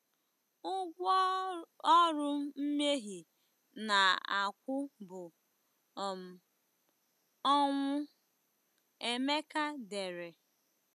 Ụgwọ ọrụ mmehie na-akwụ bụ um ọnwụ, Emeka dere.